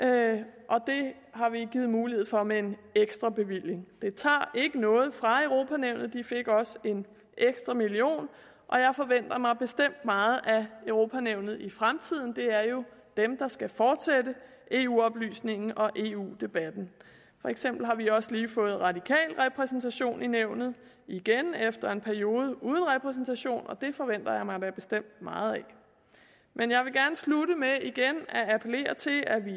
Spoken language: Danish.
det har vi givet mulighed for med en ekstrabevilling det tager ikke noget fra europa nævnet de fik også en ekstra million og jeg forventer mig bestemt meget af europa nævnet i fremtiden det er jo dem der skal fortsætte eu oplysningen og eu debatten for eksempel har vi også lige fået radikal repræsentation i nævnet igen efter en periode uden repræsentation og det forventer jeg mig da bestemt meget af men jeg vil gerne slutte med igen at appellere til at vi